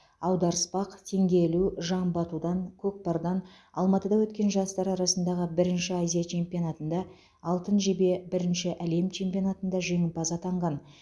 аударыспақ теңге ілу жамбы атудан көкпардан алматыда өткен жастар арасындағы бірінші азия чемпионатында алтын жебе бірінші әлем чемпионатында жеңімпаз атанған